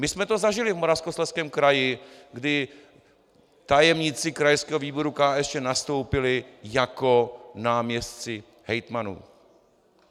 My jsme to zažili v Moravskoslezském kraji, kdy tajemníci krajského výboru KSČ nastoupili jako náměstci hejtmanů.